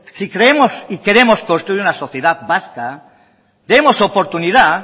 si creemos y queremos construir una sociedad vasca demos oportunidad